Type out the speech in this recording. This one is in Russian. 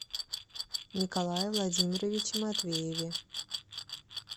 николае владимировиче матвееве